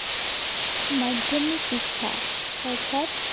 মাধ্য়মিক শিক্ষা, অৰ্থাৎ